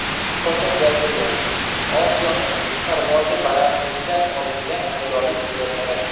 Fotogalereya: Osiyoning qush parvozi balandligidan olingan ajoyib suratlari.